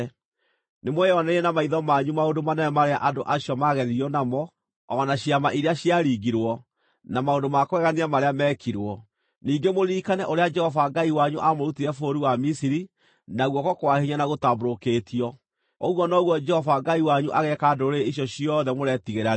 Nĩmweyoneire na maitho manyu maũndũ manene marĩa andũ acio maageririo namo, o na ciama iria ciaringirwo, na maũndũ ma kũgegania marĩa meekirwo; ningĩ mũririkane ũrĩa Jehova Ngai wanyu aamũrutire bũrũri wa Misiri na guoko kwa hinya na gũtambũrũkĩtio. Ũguo noguo Jehova Ngai wanyu ageeka ndũrĩrĩ icio ciothe mũretigĩra rĩu.